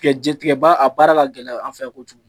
Tigɛ je, tigɛba a baara ka gɛlɛn an fɛ yan kojugu.